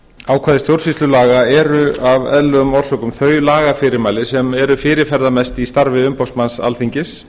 ákvæði stjórnsýslulaga eru af eðlilegum orsökum þau lagafyrirmæli sem eru fyrirferðarmest í starfi umboðsmanns alþingis